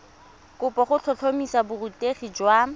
kopo go tlhotlhomisa borutegi jwa